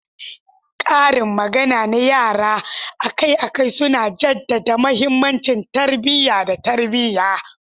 Karin magana na yara akai-akai suna jaddada mahimmancin tarbiyya da tarbiyya.